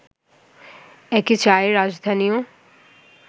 একে চায়ের রাজধানীও